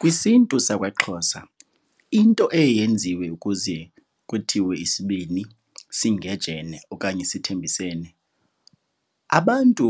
KwisiNtu sakwaXhosa into eye yenziwe ukuze kuthiwe isibini singejene okanye sithembisene, abantu